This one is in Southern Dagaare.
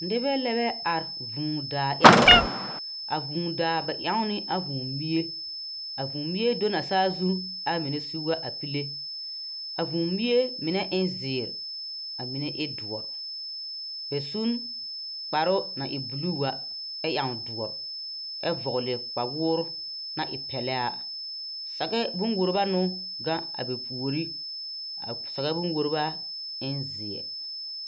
Nebɛ lebɛ are vuu daa eŋ. A vuu daa bɛ eŋ ne a vuu bie. A vuu bie do na a saazu a mene seŋ wa a pile. A vuu bie mene e ziir. A mene e duor. Bɛ sun kparo na e buluu a e eŋ duor. Ɛ vogli kpawoor na e pɛle a. Sage bon wobra no gaŋ a bɛ puore. A sage bon wobra en zie